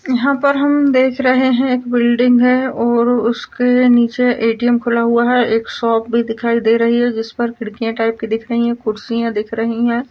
यहाँ पर हम देख रहे है एक बिल्डिंग है और उसके नीचे ए_टी_एम खुला हुआ है एक शॉप भी दिखाई दे रही है जिस पर खिड़कियां टाइप की दिख रही है कुर्सियां दिख रही है।